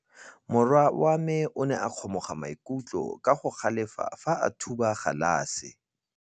Morwa wa me o ne a kgomoga maikutlo ka go galefa fa a thuba galase.